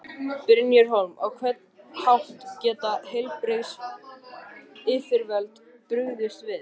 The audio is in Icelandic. Brynhildur Hólm: Á hvern hátt geta heilbrigðisyfirvöld brugðist við?